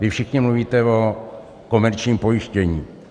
Vy všichni mluvíte o komerčním pojištění.